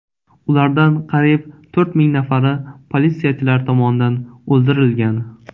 Ulardan qariyb to‘rt ming nafari politsiyachilar tomonidan o‘ldirilgan.